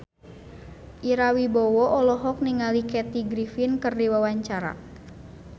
Ira Wibowo olohok ningali Kathy Griffin keur diwawancara